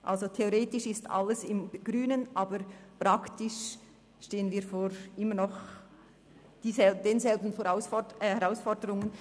Also, theoretisch ist alles im grünen Bereich, aber praktisch stehen wir immer noch vor denselben Herausforderungen.